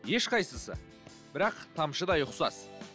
ешқайсысы бірақ тамшыдай ұқсас